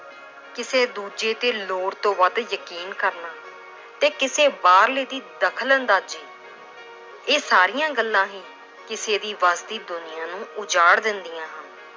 ਕਿਸੇ ਦੂਜੇ ਤੇ ਲੋੜ ਤੋਂ ਵੱਧ ਯਕੀਨ ਕਰਨਾ ਤੇ ਕਿਸੇ ਬਾਹਰਲੇ ਦੀ ਦਖ਼ਲ ਅੰਦਾਜ਼ੀ, ਇਹ ਸਾਰੀਆਂ ਗੱਲਾਂ ਹੀ ਕਿਸੇ ਦੀ ਵਸਦੀ ਦੁਨੀਆਂ ਨੂੰ ਉਜਾੜ ਦਿੰਦੀਆਂ ਹਨ।